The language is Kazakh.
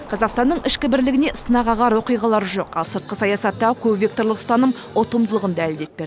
қазақстанның ішкі бірлігіне сынақағар оқиғалар жоқ ал сыртқы саясаттағы көпвекторлық ұстаным ұтымдылығын дәлелдеп берді